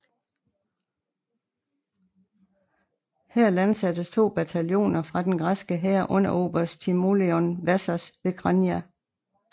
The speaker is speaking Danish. Her landsattes to bataljoner fra den græske hær under oberst Timoleon Vassos ved Chania